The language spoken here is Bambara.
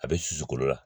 A bɛ susu kolo la